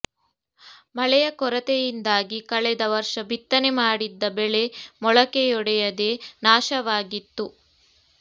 ಮಳೆಯ ಕೊರತೆಯಿಂದಾಗಿ ಕಳೆದ ವರ್ಷ ಬಿತ್ತನೆ ಮಾಡಿದ್ದ ಬೆಳೆ ಮೊಳಕೆಯೊಡೆಯದೆ ನಾಶವಾಗಿತ್ತು